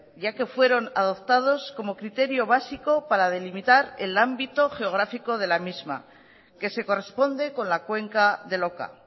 ya que fueron adoptados como criterio básico para delimitar el ámbito geográfico de la misma que se corresponde con la cuenca del oka